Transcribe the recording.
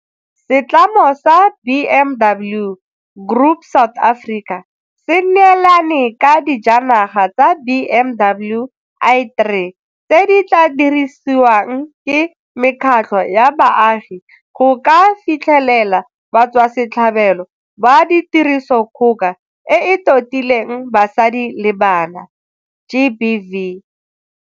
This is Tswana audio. Setlamo sa BMW Group South Africa se neelane ka dijanaga tsa BMW i3 tse di tla dirisiwang ke mekgatlho ya baagi go ka fitlhelela batswasetlhabelo ba Tirisodikgoka e e Totileng Basadi le Bana GBV.